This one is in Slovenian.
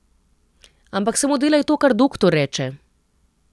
Ampak samo delaj to, kar doktor reče.